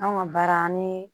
Anw ka baara an ni